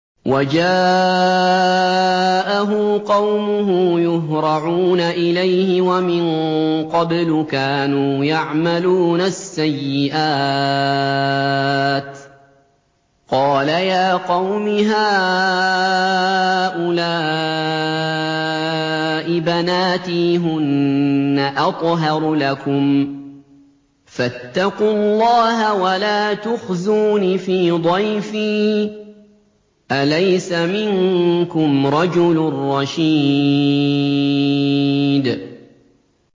وَجَاءَهُ قَوْمُهُ يُهْرَعُونَ إِلَيْهِ وَمِن قَبْلُ كَانُوا يَعْمَلُونَ السَّيِّئَاتِ ۚ قَالَ يَا قَوْمِ هَٰؤُلَاءِ بَنَاتِي هُنَّ أَطْهَرُ لَكُمْ ۖ فَاتَّقُوا اللَّهَ وَلَا تُخْزُونِ فِي ضَيْفِي ۖ أَلَيْسَ مِنكُمْ رَجُلٌ رَّشِيدٌ